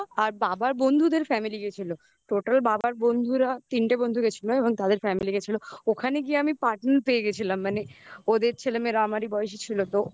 আর বাবার বন্ধুদের family গেছি total বাবার বন্ধুরা তিনটে বন্ধু গেছিল এবং তাদের family গেছিল ওখানে গিয়ে আমি partner পেয়ে গেছিলাম মানে ওদের ছেলেমেয়েরা আমারই বয়সে ছিল তো